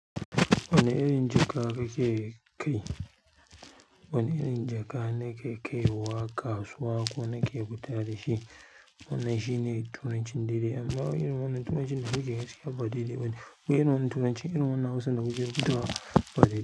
Wane irin jaka kake kai? Wane irin jaka na ke kaiwa kasuwa ko na ke fita da shi? Wannan shine turancin daidai amma irin wannan turancin da kuke gaskiya ba daidai bane. Wai irin wannan turancin irin wannan Hausa da kuke yi ba diddaye.